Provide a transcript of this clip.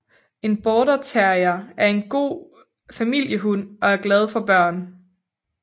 En Border terrier er en god familiehund og er glad for børn